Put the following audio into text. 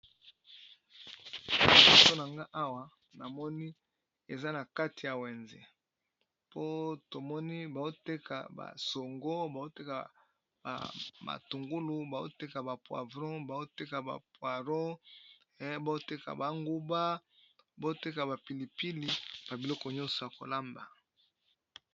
Liboso na nga awa na moni eza na kati ya wenze po tomoni bao teka basongo bao teka ba ma tungulu bao teka ba poivron bao teka ba poaro bao teka banguba bao teka ba pilipili na biloko nyonso ya kolamba